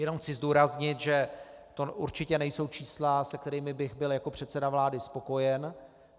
Jenom chci zdůraznit, že to určitě nejsou čísla, se kterými bych byl jako předseda vlády spokojen.